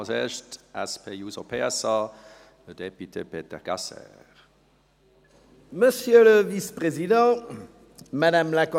Als Erster für die SP-JUSO-PSA-Fraktion: le député Peter Gasser.